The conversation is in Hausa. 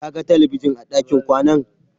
Ka ga talabijin a ɗakin kwanan?